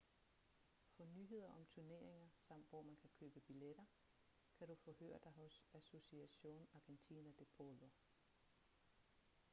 for nyheder om turneringer samt hvor man kan købe billetter kan du forhøre dig hos asociacion argentina de polo